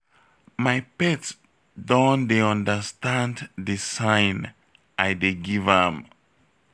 My pet don dey understand the sign I dey give am